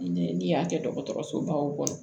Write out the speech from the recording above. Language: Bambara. N'i y'a kɛ dɔgɔtɔrɔsobaw kɔnɔ